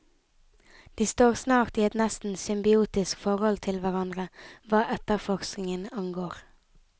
De står snart i et nesten symbiotisk forhold til hverandre hva etterforskningen angår.